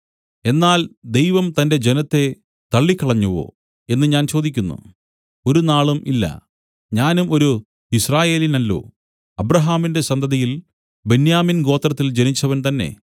എന്നാൽ ദൈവം തന്റെ ജനത്തെ തള്ളിക്കളഞ്ഞുവോ എന്നു ഞാൻ ചോദിക്കുന്നു ഒരുനാളും ഇല്ല ഞാനും ഒരു യിസ്രായേല്യനല്ലോ അബ്രാഹാമിന്റെ സന്തതിയിൽ ബെന്യാമിൻ ഗോത്രത്തിൽ ജനിച്ചവൻ തന്നേ